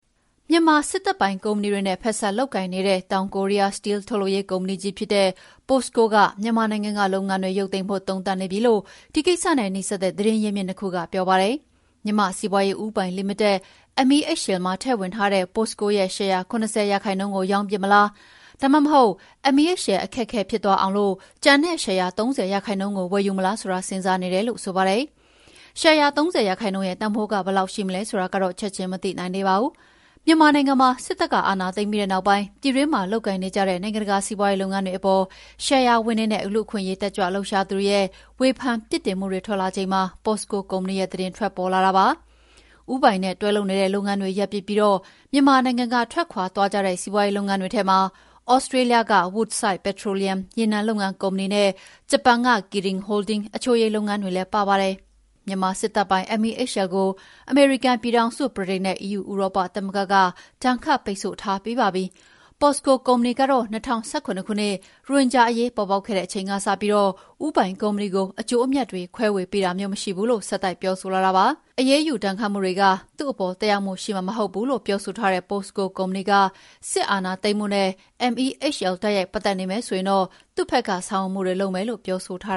မြန်မာစစ်တပ်ပိုင်ကုမ္ပဏီတွေနဲ့ ဖက်စပ်လုပ်ကိုင်နေတဲ့ တောင်ကိုရီးယားက စတီးလ်ထုတ်လုပ်ရေးကုမ္ပဏီကြီးဖြစ်တဲ့ POSCO က မြန်မာနိုင်ငံကလုပ်ငန်းတွေ ရုပ်သိမ်းဖို့ သုံးသပ်နေပြီလို့ ဒီကိစ္စနဲ့နီးစပ်တဲ့ သတင်းရင်းမြစ်၂ ခုက ပြောပါတယ်။ မြန်မာ့စီးပွါးရေးဦးပိုင်လီမိတက် MEHL မှာထည့်ဝင်ထားတဲ့ POSCO ရဲ့ ရှယ်ယာ ၇၀ ရာခိုင်နှုန်းကိုရောင်းပစ်မလား၊ ဒါမှမဟုတ် MEHL အခက်အခဲဖြစ်သွားအောင် ကျန်တဲ့ ရှယ်ယာ ၃၀ ရာခိုင်နှုန်းကို ဝယ်မလားဆိုတာ စဉ်းစားနေတယ်လို့လည်းဆိုပါတယ်။ ရှယ်ယာ ၃၀ ရာခိုင်နှုန်းရဲ့တန်ဖိုးက ဘယ်လောက်ရှိမလဲဆိုတာတော့ ချက်ချင်းမသိနိုင်သေးပါဘူး။ မြန်မာနိုင်ငံမှာ စစ်တပ်ကအာဏာသိမ်းပြီးတဲ့နောက်ပိုင်း ပြည်တွင်းမှာလုပ်ကိုင်နေကြတဲ့ နိုင်ငံတကာစီးပွါးရေးလုပ်ငန်းတွေအပေါ် ရှယ်ယာဝင်တွေနဲ့ လူ့အခွင့်အရေးတက်ကြွလှုပ်ရှားသူတွေရဲ့ ဝေဖန်ပြစ်တင်မှုတွေထွက်လာနေချိန်မှာ POSCO ကုမ္ပဏီရဲ့သတင်းထွက်ပေါ်လာတာဖြစ်ပါတယ်။ ဦးပိုင်နဲ့တွဲလုပ်နေတဲ့ လုပ်ငန်းတွေရပ်ပစ်ပြီး မြန်မာနိုင်ငံကထွက်ခွါသွားကြတဲ့ စီးပွါးရေးလုပ်ငန်းတွေထဲမှာ သြစးတေးလျက Woodside Petroleum ရေနံထုတ်လုပ်ရေးကုမ္ပဏီနဲ့ ဂျပန် Kirin Holdings အချိုရည်လုပ်ငန်းတွေလည်းပါပါတယ်။ မြန်မာစစ်တပ်ပိုင် MEHL ကို အမေရိကန်ပြည်ထောင်စု၊ ဗြိတိန်နဲ့ဥရောပသမဂ္ဂက ဒဏ်ခတ်ပိတ်ဆို့ထားပြီးပါပြီ။ Posco ကုမ္ပဏီကတော့ ၂၀၁၇ ခုနှစ် ရိုဟင်ဂျာအရေးပေါ်ပေါက်ခဲ့တဲ့အချိန်ကစပြီး ဦးပိုင်ကုမ္ပဏီကို အကျိုးအမြတ်တွေ ခွဲဝေပေးတာမျိုးမရှိဘူးလို့ ဆက်တိုက်ပြောဆိုလာတာပါ။ အရေးယူဒဏ်ခတ်မှုတွေက သူ့အပေါ်သက်ရောက်မှုရှိမှာမဟုတ်ဘူးလို့ ပြောဆိုထားတဲ့ Posco ကုမ္ပဏီက စစ်အာဏာသိမ်းမှုနဲ့ MEHL တိုက်ရိုက်ပတ်သက်နေမယ်ဆိုရင်တော့ သူ့ဖက်ကေ ဆာင်ရွက်မှုတွေလုပ်မယ်လို့ ပြောဆိုထား